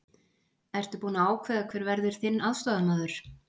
Ertu búinn að ákveða hver verður þinn aðstoðarmaður?